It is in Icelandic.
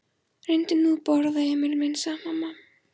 Reyndu nú að borða, Emil minn, sagði mamma.